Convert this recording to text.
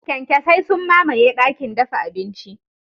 Kyankyasai sun mamaye dakin dafa abinci.